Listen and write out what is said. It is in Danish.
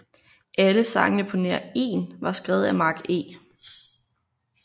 Alle sangene på nær én var skrevet af Mark E